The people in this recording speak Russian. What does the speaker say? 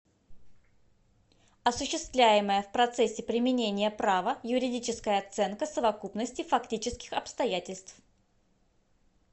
осуществляемая в процессе применения права юридическая оценка совокупности фактических обстоятельств